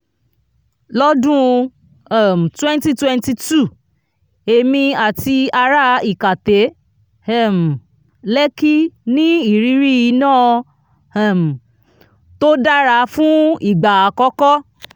lọ́dún um twenty twenty two èmi àti ará ikate um lekki ní ìrírí iná um tó dára fún ìgbà akọ́kọ́.